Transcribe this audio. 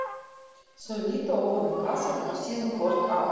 Þau líta ofan í kassann og síðan hvort á annað.